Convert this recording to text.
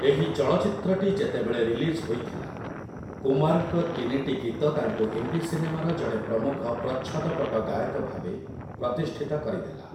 ଏହି ଚଳଚ୍ଚିତ୍ରଟି ଯେତେବେଳେ ରିଲିଜ୍ ହୋଇଥିଲା, କୁମାର୍‌ଙ୍କ ତିନିଟି ଗୀତ ତାଙ୍କୁ ହିନ୍ଦୀ ସିନେମାର ଜଣେ ପ୍ରମୁଖ ପ୍ରଚ୍ଛଦପଟ ଗାୟକ ଭାବେ ପ୍ରତିଷ୍ଠିତ କରିଦେଲା ।